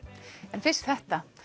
en fyrst þetta